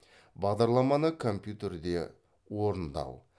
бағдарламаны компьютерде орындау